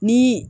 Ni